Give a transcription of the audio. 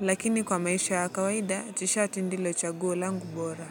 lakini kwa maisha ya kawaida, tshati ndilo chaguo langu bora.